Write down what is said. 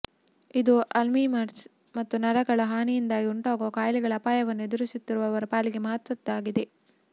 ಇದು ಅಲ್ಝೀಮರ್ಸ್ ಮತ್ತು ನರಗಳ ಹಾನಿಯಿಂದಾಗಿ ಉಂಟಾಗುವ ಕಾಯಿಲೆಗಳ ಅಪಾಯವನ್ನು ಎದುರಿಸುತ್ತಿರುವವರ ಪಾಲಿಗೆ ಮಹತ್ವದ್ದಾಗಿದೆ